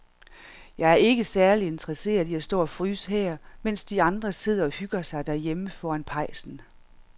Jeg er ikke særlig interesseret i at stå og fryse her, mens de andre sidder og hygger sig derhjemme foran pejsen.